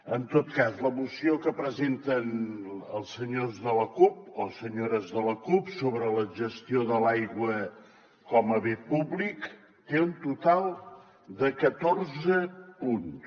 en tot cas la moció que presenten els senyors de la cup o senyores de la cup sobre la gestió de l’aigua com a bé públic té un total de catorze punts